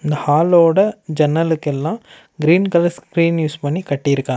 இந்த ஹாலோட ஜன்னலுக்கு எல்லா கிரீன் கலர் ஸ்கிரீன் யூஸ் பண்ணி கட்டிருக்காங்க.